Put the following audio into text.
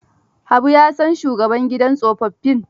Habu ya san shugaban gidan tsofaffin.